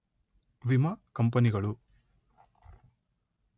ವಿಮಾ ಕಂಪನಿಗಳು